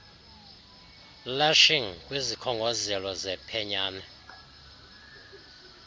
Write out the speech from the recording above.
lashing kwisikhongozelo sephenyane